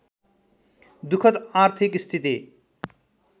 दुखद आर्थिक स्थिति